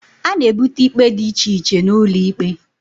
A na ebute ikpe dị iche iche n'ulo ikpe